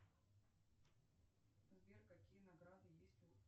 сбер какие награды есть у